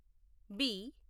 B